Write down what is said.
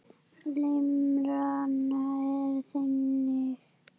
Limran er þannig